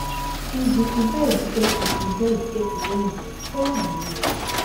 if di event get im event get im own rules follow di rules